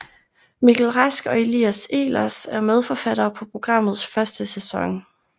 Mikkel Rask og Elias Ehlers er medforfattere på programmets første sæson